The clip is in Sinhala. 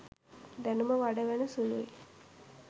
දැනුම වඩවන සුළුයි